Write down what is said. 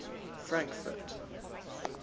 frankfort